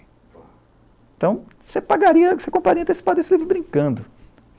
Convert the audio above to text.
Então, você pagaria você compraria esse livro antecipado brincando.